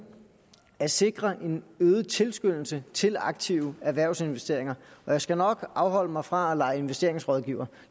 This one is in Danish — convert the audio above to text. at sikre en øget tilskyndelse til aktive erhvervsinvesteringer og jeg skal nok afholde mig fra at lege investeringsrådgiver